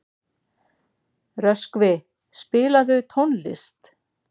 Röskvi, spilaðu tónlist.